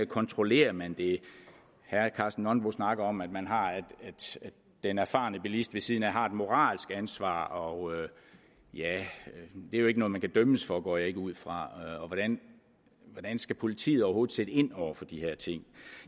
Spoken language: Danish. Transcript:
kontrollerer man det herre karsten nonbo snakker om at den erfarne bilist ved siden af har et moralsk ansvar og det er jo ikke noget man kan dømmes for det går jeg ikke ud fra og hvordan skal politiet overhovedet sætte ind over for de her ting